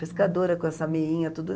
Pescadora com essa meinha, tudo.